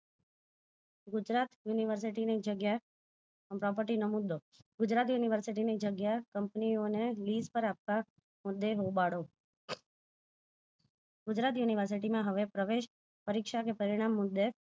Gujarat university ની જગ્યા property નો મુદો ગુજરાત university જગ્યા company ઓ ને પર આપતા મુદે હોબાળો. ગુજરાત university માં હવે પ્રવેશ પરિક્ષા કે પરિણામ મુદે